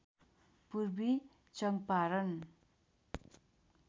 Purvi Champaran